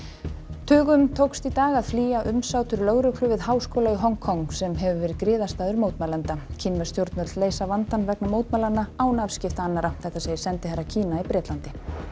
tugum tókst í dag að flýja umsátur lögreglu við háskóla í Hong Kong sem hefur verið griðastaður mótmælenda kínversk stjórnvöld leysa vandann vegna mótmælanna án afskipta annarra segir sendiherra Kína í Bretlandi